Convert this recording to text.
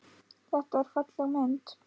Þetta er falleg mynd.